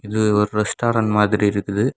இது ஓரு ஸ்டாரெண்ட் மாதிரி இருக்குது.